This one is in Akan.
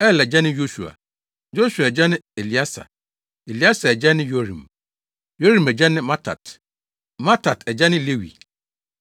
Er agya ne Yosua; Yosua agya ne Elieser; Elieser agya ne Yorim; Yorim agya ne Matat; Mattat agya ne Lewi;